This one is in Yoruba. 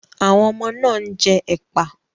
Àwọn ọmọ náà ń jẹ ẹ́pà.